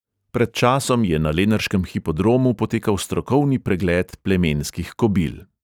Pred časom je na lenarškem hipodromu potekal strokovni pregled plemenskih kobil.